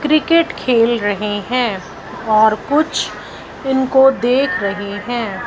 Cricket खेल रहे हैं और कुछ इनको देख रहे हैं।